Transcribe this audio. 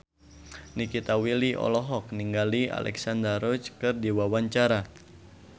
Nikita Willy olohok ningali Alexandra Roach keur diwawancara